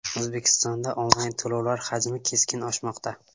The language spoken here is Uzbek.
O‘zbekistonda onlayn to‘lovlar hajmi keskin oshmoqda.